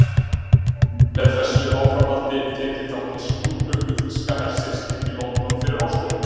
Með þessu áframhaldi tek ég þátt í skrúðgöngu þýska hersins inn í London fyrir árslok.